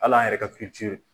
Hali an yɛrɛ ka .